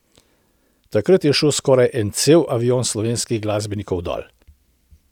Takrat je šel skoraj en cel avion slovenskih glasbenikov dol.